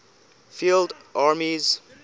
field armies